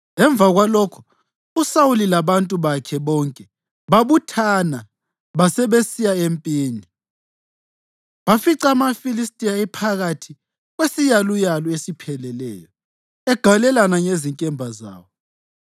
Emva kwalokho uSawuli labantu bakhe bonke babuthana basebesiya empini. Bafica amaFilistiya ephakathi kwesiyaluyalu esipheleleyo, egalelana ngezinkemba zawo.